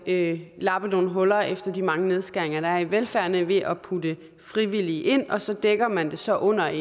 at lappe nogle huller efter de mange nedskæringer der i velfærden ved at putte frivillige ind og så dækker man det så under